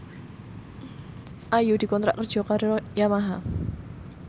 Ayu dikontrak kerja karo Yamaha